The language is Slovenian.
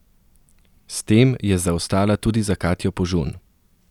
S tem je zaostala tudi za Katjo Požun.